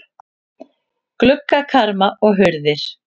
Gluggakarma og hurðir.